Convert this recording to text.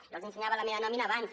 jo els ensenyava la meva nòmina abans